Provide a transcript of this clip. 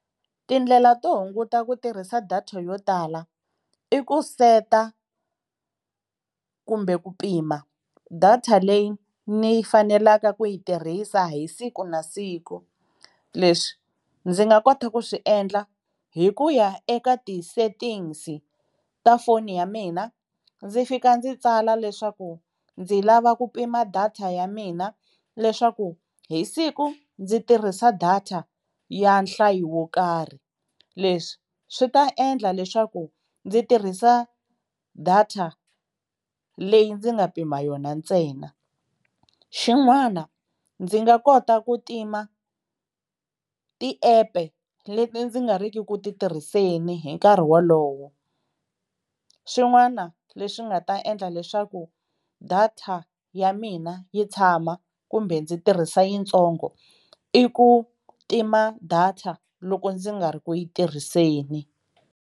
Tindlela to hunguta ku tirhisa data yo tala i ku seta kumbe ku pima data leyi ni fanelaka ku yi tirhisa hi siku na siku, leswi ndzi nga kota ku swi endla hi ku ya eka ti-settings ta foni ya mina ndzi fika ndzi tsala leswaku ndzi lava ku pima data ya mina leswaku hi siku ndzi tirhisa data ya nhlayo wo karhi, leswi swi ta endla leswaku ndzi tirhisa data leyi ndzi nga pima yona ntsena, xin'wana ndzi nga kota ku tima tiepe leti ndzi nga ri ki ku ti tirhiseni hi nkarhi wolowo, swin'wana leswi nga ta endla leswaku data ya mina yi tshama kumbe ndzi tirhisa yitsongo i ku tima data loko ndzi nga ri ku yi tirhiseni.